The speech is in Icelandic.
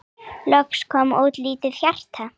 Loks kom út lítið hjarta